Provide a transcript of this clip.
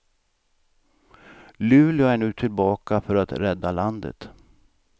Luleå är nu tillbaka för att rädda landet.